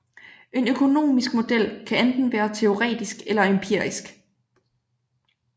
En økonomisk model kan enten være teoretisk eller empirisk